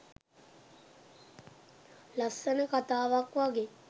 ලස්සන කතාවක් වගේ.